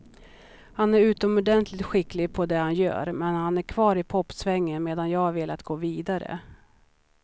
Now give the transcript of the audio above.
Han är utomordentligt skicklig på det han gör, men han är kvar i popsvängen medan jag har velat gå vidare.